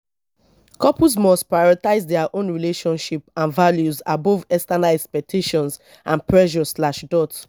couples must prioritize dia own relationship and values above external expectations and pressures slash dot